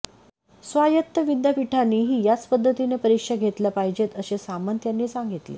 स्वायत्त विद्यापीठांनीही याच पद्धतीने परीक्षा घेतल्या पाहिजेत असे सामंत यांनी सांगितले